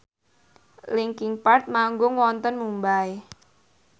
linkin park manggung wonten Mumbai